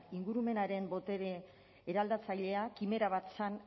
ingurumenaren botere eraldatzailea kimera bat zen